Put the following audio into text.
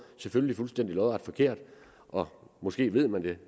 selvfølgelig fuldstændig lodret forkert og måske ved man det